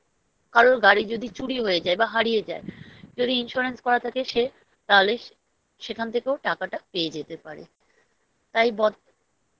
কারোর গাড়ি যদি চুরি হয়ে যায় বা হারিয়ে যায় যদি Insurance করা থাকে সে তাহলে সেখান থেকে টাকাটা পেয়ে যেতে পারে তাই পত